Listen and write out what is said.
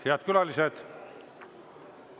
Head külalised!